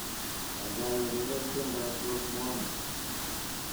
Kaikai ureren tiendoab Rose Muhando